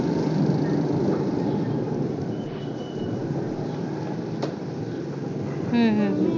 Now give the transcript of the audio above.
हम्म हम्म